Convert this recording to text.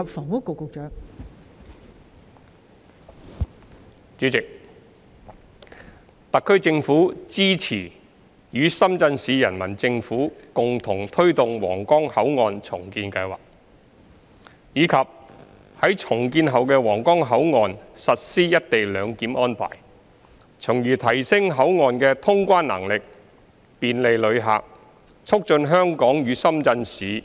代理主席，特區政府支持與深圳市人民政府共同推動皇崗口岸重建計劃，以及於重建後的皇崗口岸實施"一地兩檢"安排，從而提升口岸的通關能力，便利旅客，促進香港與深圳市及